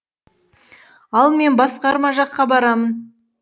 ал мен басқарма жаққа барамын